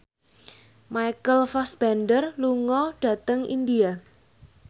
Michael Fassbender lunga dhateng India